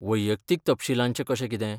वैयक्तीक तपशीलाचें कशें कितें?